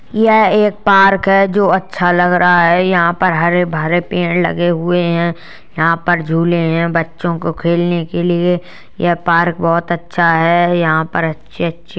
यह एक पार्क है जो अच्छा लग रहा है। यहाँ पे हरे -भरे पेड़ लगे हुए हैं। यहाँ पे झूले हैं बच्चों को खेलने के लिए। ये पार्क बोहोत अच्छा हैं। यहां पर अच्छे-अच्छे --